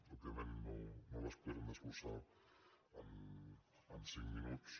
òbviament no les podrem desglossar en cinc minuts